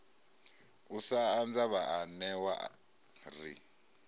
u sa anza vhaanewa ri